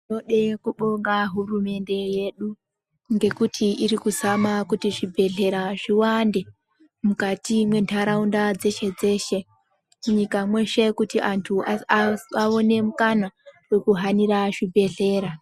Tinode kubonga hurumende yedu ngekuti irikuzama kuti zvibhedhlera zviwande mukati mwendaraunda dzeshe dzeshe munyika mwedhe kuti antu awane mukana wekuhanira zvibhedhlera.